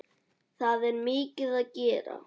Það er mikið að gera.